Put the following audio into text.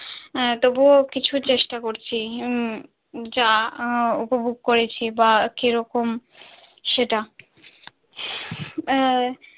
হ্যাঁ তবুও কিছু চেষ্টা করছি যা উপভোগ করেছি বা কি রকম সেটা।